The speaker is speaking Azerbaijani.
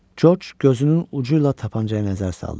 Corc gözünün ucu ilə tapançayı nəzər saldı.